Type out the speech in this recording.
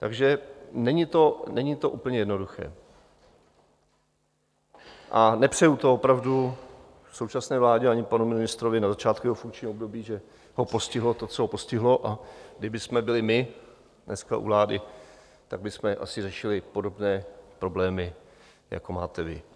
Takže není to úplně jednoduché a nepřeju to opravdu současné vládě ani panu ministrovi na začátku jeho funkčního období, že ho postihlo to, co ho postihlo, a kdybychom byli my dneska u vlády, tak bychom asi řešili podobné problémy, jako máte vy.